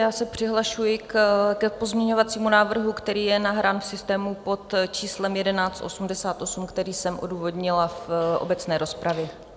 Já se přihlašuji k pozměňovacímu návrhu, který je nahrán v systému pod číslem 1188, který jsem odůvodnila v obecné rozpravě.